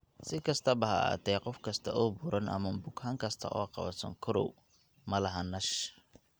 Si kastaba ha ahaatee, qof kasta oo buuran ama bukaan kasta oo qaba sonkorow ma laha NASH.